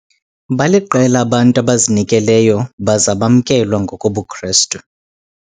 Baliqela abantu abazinikeleyo baze bamkelwa ngokobuKrestu.